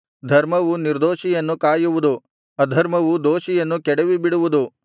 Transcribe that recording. ಧರ್ಮವು ನಿರ್ದೋಷಿಯನ್ನು ಕಾಯುವುದು ಅಧರ್ಮವು ದೋಷಿಯನ್ನು ಕೆಡವಿಬಿಡುವುದು